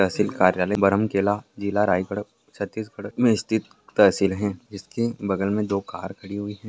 तहसील कार्यालय बरमकेला जिला रायगढ़ छत्तीसगढ़ में स्थित तहसील है इसके बगल में दो कार खड़ी हुई है।